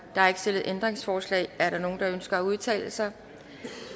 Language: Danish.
der er ikke stillet ændringsforslag er der nogen der ønsker at udtale sig